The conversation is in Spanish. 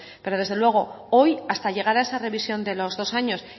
pero desde luego hoy hasta llegar a esa revisión de los dos años